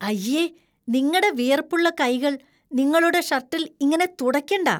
അയ്യേ. നിങ്ങടെ വിയർപ്പുള്ള കൈകൾ നിങ്ങളുടെ ഷർട്ടിൽ ഇങ്ങനെ തുടയ്ക്കണ്ടാ.